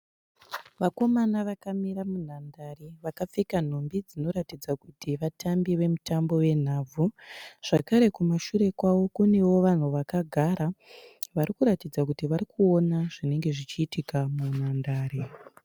Vakomana vakamira munhandare vakapfeka nhumbi dzinoratidza kuti vatambi vemutambi wenhabvu. Zvakare kumashure kwavo kunewo vanhu vakagara vari kuratidza kuti vari kuona zvinenge zvichiitika munhandare.